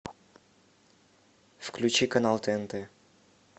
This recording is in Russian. включи канал тнт